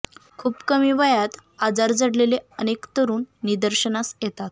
खूप कमी वयात आजार जडलेले अनेक तरुण निदर्शनास येतात